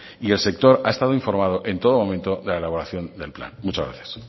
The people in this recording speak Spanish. y el sector ha estado informado en todo momento de la elaboración del plan muchas gracias